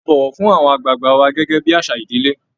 A bọ̀wọ̀ fún àwọn àgbààgbà wa gẹ́gẹ́ bí àṣà ìdílé